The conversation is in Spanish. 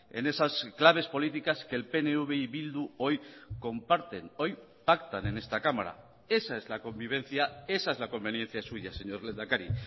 en esas claves políticas que el pnv y bildu hoy comparten hoy pactan en esta cámara esa es la convivencia esa es la conveniencia suya señor lehendakari